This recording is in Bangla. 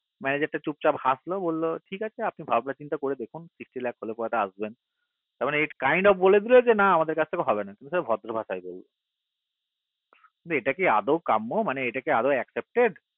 manager টা চুপ চাপ হাসলো বললো ঠিক আছে আপনি ভাবনা চিন্তা করে হলে দেখুন sixty lacs হলে তো আসবেন তার মানে kind of বলে দিলো যে আমাদের কাছে হবে না ভদ্র ভাষায় না মানে এটা কি আদেও কাম্য আদেও accepted